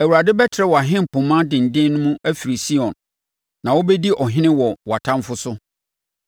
Awurade bɛtrɛ wʼahempoma denden mu afiri Sion; na wobɛdi ɔhene wɔ wʼatamfoɔ so.